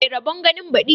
Mai rabon ganin badi